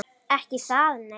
Ekki það nei?